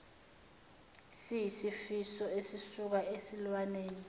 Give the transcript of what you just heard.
siyisifo esisuka esilwaneni